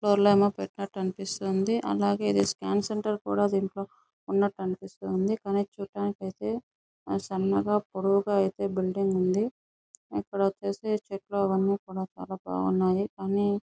పెట్టినట్టు అనిపిస్తుంది. అలాగే అలాగే ఇది స్కాన్ సెంటర్ కూడా దింట్లో ఉన్నట్టు అనిపిస్తుంది. కానీ చూడటానికి ఐతే సన్నగా పొడవుగా అయితే బిల్డింగ్ ఉంది. ఇక్కడ వచ్చేసి చెట్లు అవన్నీ కూడా చాల బాగున్నాయ్.